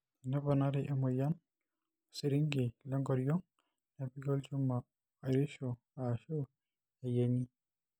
teneponari emoyian osirinki le nkoriong' nepiki olchuma oirishu aashu eyieng'i